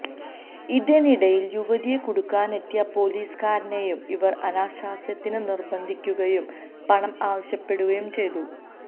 ഇതിനിടയില് യുവതിയെ കുടുക്കാനെത്തിയ പൊലീസ് കാരനെയും ഇവര് അനാശാസ്യത്തിന് നിര്ബന്ധിക്കുകയും പണം ആവശ്യപ്പെടുകയും ചെയ്തു